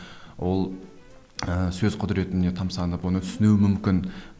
ол ы сөз құдіретіне тамсанып оны түсінуі мүмкін